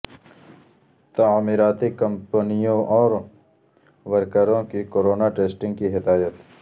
تعمیراتی کمپنیوں اور ورکروں کی کورونا ٹیسٹنگ کی ہدایت